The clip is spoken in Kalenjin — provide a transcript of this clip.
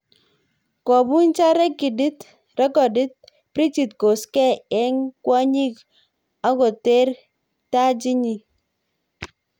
Kobunchan rekidit Bridgit Koskei enh kwonyik akoteer tajiit nyi